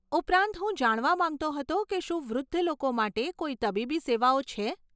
ઉપરાંત, હું જાણવા માંગતો હતો કે શું વૃદ્ધ લોકો માટે કોઈ તબીબી સેવાઓ છે?